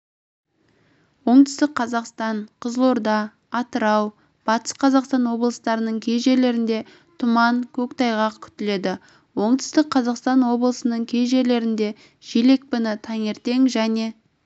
оңтүстік қазақстан қызылорда атырау батыс қазақстан облыстарының кей жерлерінде тұман көктайғақ күтіледі оңтүстік қазақстан облысының кей жерлерінде жел екпіні таңертең және